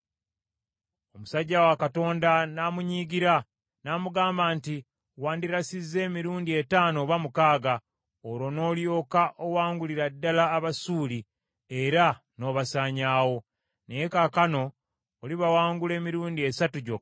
Omusajja wa Katonda n’amunyiigira, n’amugamba nti, “Wandirasizza emirundi etaano oba mukaaga, olwo n’olyoka owangulira ddala Abasuuli era n’obasaanyaawo. Naye kaakano olibawangula emirundi esatu gyokka.”